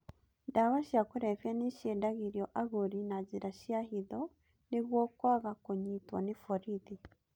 Ndawa cia kũrebia nĩciendagĩrio agũri na njĩra cia hitho nĩguo kwaga kũnyitwo ni borithi.